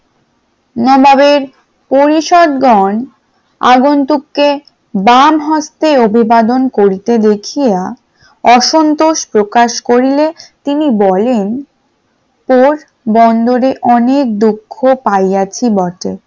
পরিষদ গন আগুন্তক্কে বাম হস্তে অভিবাদন করতে দেখিয়া অসন্তোষ প্রকাশ করিলে তিনি বলেন পোরবন্দরে অনেক দুঃখ পাইয়াছি বটে,